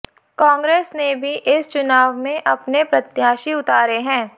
कांग्रेस ने भी इस चुनाव में अपने प्रत्याशी उतारे है